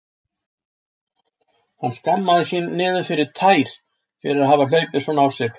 Hann skammaðist sín niður í tær fyrir að hafa hlaupið svona á sig.